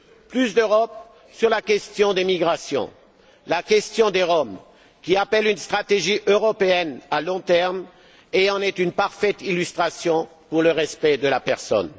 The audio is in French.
Plus d'Europe sur la question des migrations la question des Roms, qui appelle une stratégie européenne à long terme, en est une parfaite illustration en matière de respect de la personne.